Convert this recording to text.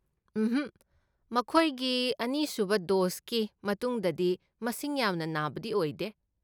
ꯎꯝꯍꯛ, ꯃꯈꯣꯏꯒꯤ ꯑꯅꯤꯁꯨꯕ ꯗꯣꯁꯀꯤ ꯃꯇꯨꯡꯗꯗꯤ ꯃꯁꯤꯡ ꯌꯥꯝꯅ ꯅꯥꯕꯗꯤ ꯑꯣꯏꯗꯦ꯫